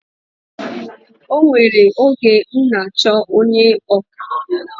O nwere oge m n'achọ onye ọkà